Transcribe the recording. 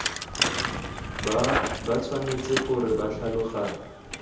ba tshwanetse gore ba tlhaloganye